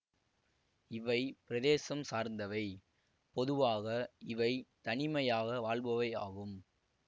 இவை பிரதேசம் சார்ந்தவை பொதுவாக இவை தனிமையாக வாழ்பவை ஆகும்